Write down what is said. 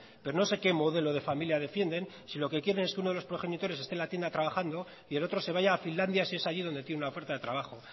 pero no sé qué modelo de familia defienden si lo que quieren que uno de los progenitores esté en la tienda trabajando y el otro se vaya a finlandia si es allí donde tiene una oferta de trabajo